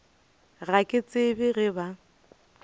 ga ke tsebe ge ba